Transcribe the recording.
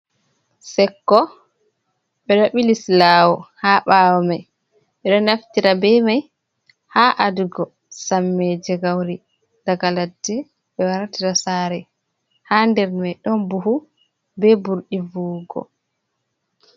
Sekko ɓeɗo ɓili silaawo haa ɓaawo mai, ɓe ɗo naftira be mai haa a dugo samme je gauri, daga laɗɗe be wartira saare, haa nder mai ɗon buhu be ɓurɗi vuwugo.